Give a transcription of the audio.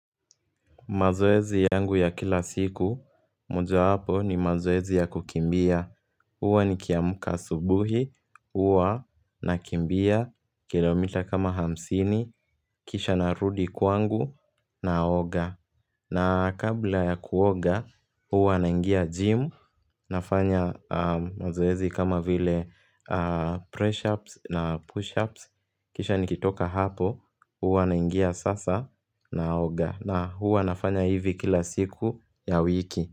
Mazoezi yangu ya kila siku, mojawapo ni mazoezi ya kukimbia. Huwa nikiamka subuhi, huwa nakimbia kilomita kama hamsini, kisha narudi kwangu, na oga. Na kabla ya kuoga, huwa naingia jimu, nafanya mazoezi kama vile press ups na push ups. Kisha nikitoka hapo, huwa naingia sasa na aoga, na huwa nafanya hivi kila siku ya wiki.